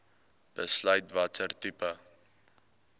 besluit watter tipe